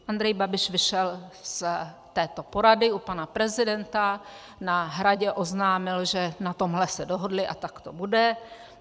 Andrej Babiš vyšel z této porady u pana prezidenta, na Hradě oznámil, že na tomhle se dohodli a tak to bude.